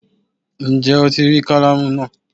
Ǹjé Ó ti rí kálámù náà